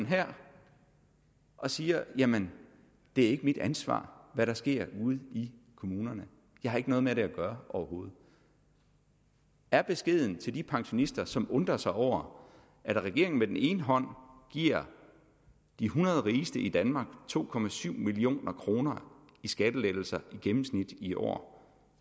her og siger jamen det er ikke mit ansvar hvad der sker ude i kommunerne jeg har ikke noget med det at gøre overhovedet er beskeden til de pensionister som undrer sig over at regeringen med den ene hånd giver de hundrede rigeste i danmark to million kroner i skattelettelser i gennemsnit i år